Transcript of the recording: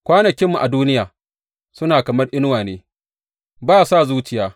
Kwanakinmu a duniya suna kamar inuwa ne, ba sa zuciya.